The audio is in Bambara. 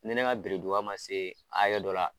Ne ne ka man se hakɛ dɔ la.